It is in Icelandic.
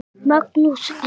Magnús: Erfitt?